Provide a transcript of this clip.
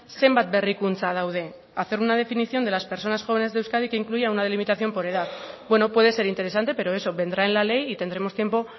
zenbat berrikuntza daude hacer una definición de las personas jóvenes de euskadi que incluya una delimitación por edad bueno puede ser interesante pero eso vendrá en la ley y tendremos tiempo